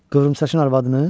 Qıvrımsaçın arvadını?